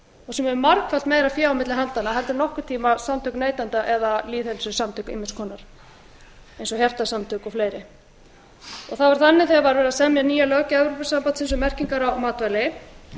og sem hefur margfalt meira fé á milli handanna heldur en nokkurn tíma samtök neytenda eða lýðheilsusamtök ýmiss konar eins og hjartasamtök og fleiri það var þannig þegar verið var að semja nýja löggjöf evrópusambandsins um merkingar á matvæli